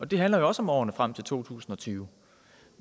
det handler også om årene frem til to tusind og tyve